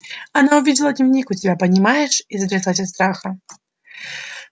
она увидела дневник у тебя понимаешь и затряслась от страха